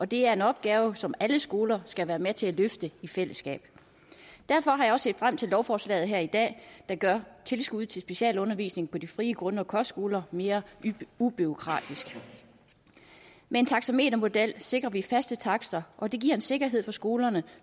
det er en opgave som alle skoler skal være med til at løfte i fællesskab derfor har set frem til lovforslaget her i dag der gør tilskuddet til specialundervisningen på de frie grund og kostskoler mere ubureaukratisk med en taxametermodel sikrer vi faste takster og det giver en sikkerhed for skolerne